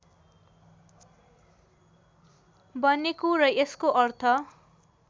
बनेको र यसको अर्थ